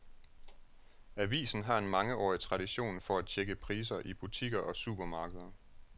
Avisen har en mangeårig tradition for at tjekke priser i butikker og supermarkeder.